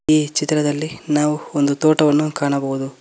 ಈ ಚಿತ್ರದಲ್ಲಿ ನಾವು ಒಂದು ತೋಟವನ್ನು ಕಾಣಬಹುದು.